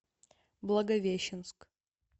благовещенск